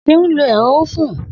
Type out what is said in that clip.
Seun lo ero ofun